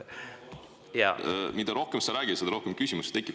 Mida rohkem sa räägid, seda rohkem küsimusi tekib.